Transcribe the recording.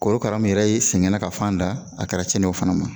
Korokara min yɛrɛ ye sɛgɛnna ka fan da a kɛra cɛni ye o fana ma